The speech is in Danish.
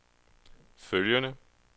følgende